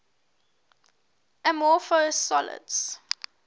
amorphous solids